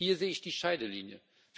Hier sehe ich die Scheidelinie.